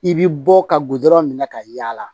I bɛ bɔ ka gudɔrɔn minɛ ka yaala